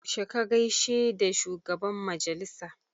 Yaushe ka gaishe da shugaban majalisa?